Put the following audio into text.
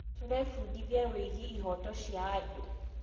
Tũrebundithia wĩgiĩ ihooto cia anũ.